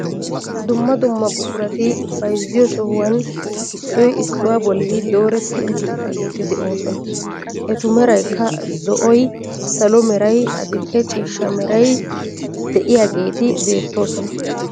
Dumma dumma buqurati bayzziyoo sohuwaan issoy issuwaa bolli dooretti uttaageti de'oosona. etu meraykka zo"oy salo meray adil"e ciishsha meray de'iyoogeti beettoosona.